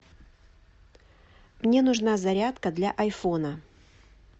мне нужна зарядка для айфона